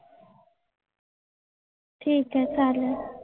ठीक आहे चालेल.